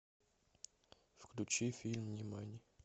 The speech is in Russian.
включи фильм нимани